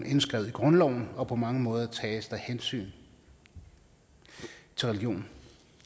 indskrevet i grundloven og på mange måder tages der hensyn til religion